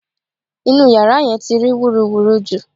Inú yàrá yẹn ti rí wúruwùru jù